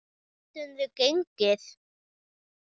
Geturðu gengið?